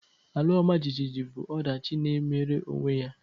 Ala ọmajiji bụ ọdachi na-emere onwe ya